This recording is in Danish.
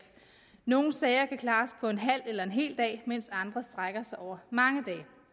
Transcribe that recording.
nogle sager kan klares på en halv eller en hel dag mens andre strækker sig over mange